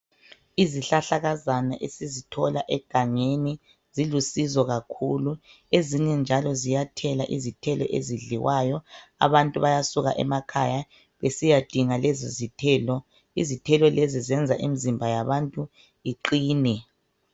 Izihlahlakazana esizithola egangeni zilusizo kakhulu ezinye njalo ziyathela izithelo ezidliwayo abantu bayasuka emakhaya besiyadinga lezi zithelo. Izithelo lezi zenza imizimba yabantu iqine.